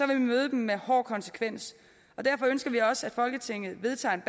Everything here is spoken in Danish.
vil vi møde dem med hård konsekvens derfor ønsker vi også at folketinget vedtager en